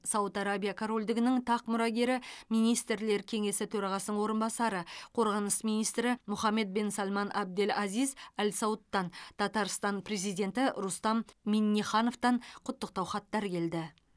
сауд арабия корольдігінің тақ мұрагері министрлер кеңесі төрағасының орынбасары қорғаныс министрі мухаммад бен салман абдель азиз әл саудтан татарстан президенті рустам миннихановтан құттықтау хаттар келді